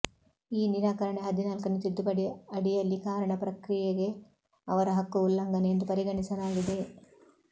ಈ ನಿರಾಕರಣೆ ಹದಿನಾಲ್ಕನೇ ತಿದ್ದುಪಡಿ ಅಡಿಯಲ್ಲಿ ಕಾರಣ ಪ್ರಕ್ರಿಯೆಗೆ ಅವರ ಹಕ್ಕು ಉಲ್ಲಂಘನೆ ಎಂದು ಪರಿಗಣಿಸಲಾಗಿದೆ